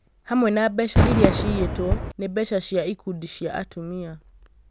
hamwe na mbeca iria ciĩyĩtwo nĩ mbeca cia ikundi cia atumia